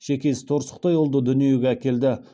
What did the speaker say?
шекесі торсықтай ұлды дүниеге әкелді